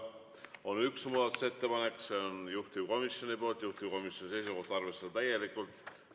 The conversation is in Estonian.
On üks muudatusettepanek, see on juhtivkomisjonilt ja juhtivkomisjoni seisukoht on arvestada täielikult.